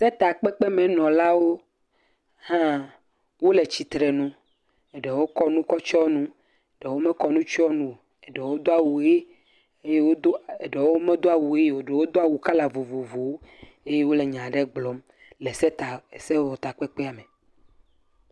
Setakpekpenɔlawo hã wole tsitre nu, eɖewo tsɔ nu kɔ tsiɔ nu, ɖewo mekɔ nu tsiɔ nu o, ɖewo do awu ʋe, eye wodo eɖewo medo awu ʋe o, ɖewo do awu kala vovovowo eye wole nya aɖe gblɔm le seta… sewɔtakpekpea me.